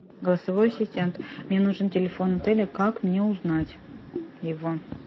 голосовой ассистент мне нужен телефон отеля как мне узнать его